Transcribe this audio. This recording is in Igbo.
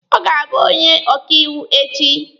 Ọ ga-abụ onye ọkaiwu echi.